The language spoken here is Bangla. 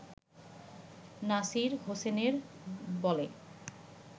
নাসির হোসেনের বলে